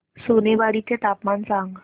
सोनेवाडी चे तापमान सांग